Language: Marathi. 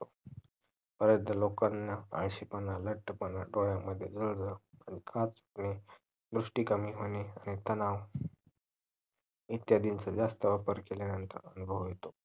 लोकांना आळशीपणा लट्ठापणा डोळ्यामद्धे वेग वेगळे खाज येणे दृस्ती कमी होणे तनाव इतक्यापेक्ष्य जास्त वापर केल्यानंतर होतो